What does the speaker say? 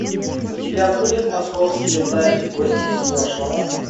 у тебя будет московские тайны гости из прошлого